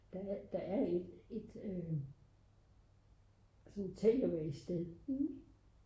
der er et sådan takeaway sted